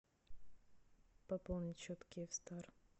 пополнить счет киев стар